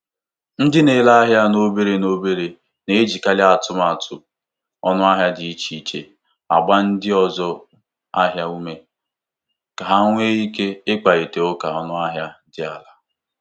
Ndị na-ere ahịa n'obere n'obere na-ejikarị atụmatụ ọnụahịa dị iche iche agba ndị ọzụ ahịa ume ka ha nwee ike kparịta ụka ọnụahịa dị ala.